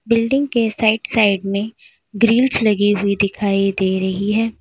Building के side side में grills लगी हुई दिखाई दे रही है।